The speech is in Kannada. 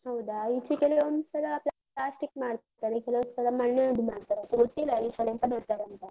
ಹೌದಾ, ಈಚೆ ಕೆಲವೊಂದ್ಸಲ plastic ಮಾಡ್ತಾರೆ. ಕೆಲವೊಂದ್ಸಲ ಮಣ್ಣಿನದ್ದು ಮಾಡ್ತಾರೆ. ಗೊತ್ತಿಲ್ಲ ಈ ಸಲ ಎಂತ ಮಾಡ್ತಾರಂತ.